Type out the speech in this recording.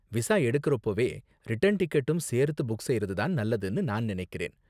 Visa எடுக்கறப்போவே return டிக்கெட்டும் சேர்த்து புக் செய்யறது தான் நல்லதுனு நான் நினைக்கிறேன்.